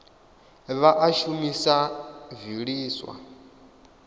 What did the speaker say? vha a shumisa o vhiliswa